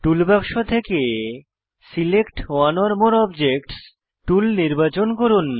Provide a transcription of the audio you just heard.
টুল বাক্স থেকে select one or more objects tool নির্বাচন করুন